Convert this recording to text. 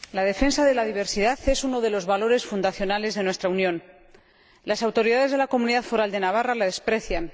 Señor Presidente, la defensa de la diversidad es uno de los valores fundacionales de nuestra Unión. Las autoridades de la Comunidad Foral de Navarra la desprecian.